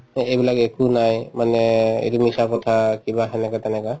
এই‍ এইবিলাক একো নাই মানে এইটো মিছা কথা কিবা সেনেকুৱা তেনেকুৱা